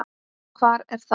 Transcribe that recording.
Hvar er það?